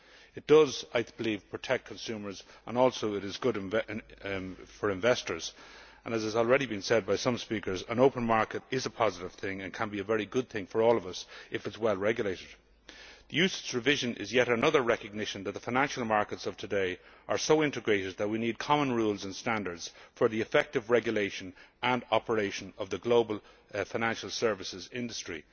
I believe it not only protects consumers but is also good for investors. As some speakers have already said, an open market is a positive thing and can be a very good thing for all of us if it is well regulated. UCITS revision is yet another recognition that the financial markets of today are so integrated that we need common rules and standards for the effective regulation and operation of the global financial services industry.